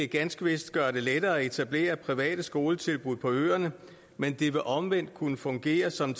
ganske vist gøre det lettere at etablere private skoletilbud på øerne men det vil omvendt kunne fungere som